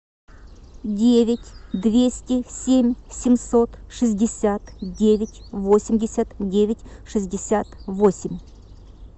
девять двести семь семьсот шестьдесят девять восемьдесят девять шестьдесят восемь